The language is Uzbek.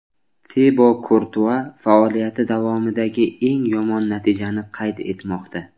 Tibo Kurtua faoliyati davomidagi eng yomon natijani qayd etmoqda.